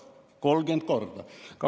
30 korda!